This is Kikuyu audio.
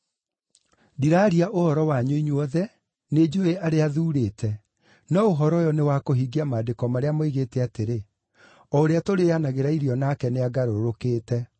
“Ndiraaria ũhoro wanyu inyuothe; nĩnjũũĩ arĩa thuurĩte. No ũhoro ũyũ nĩ wa kũhingia maandĩko marĩa moigĩte atĩrĩ, ‘O ũrĩa tũrĩĩanagĩra irio nake nĩangarũrũkĩte.’